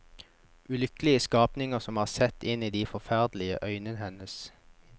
Ulykkelige skapninger som har sett inn i de forferdelige øynene hennes.